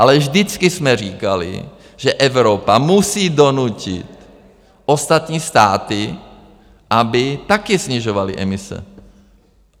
Ale vždycky jsme říkali, že Evropa musí donutit ostatní státy, aby taky snižovaly emise.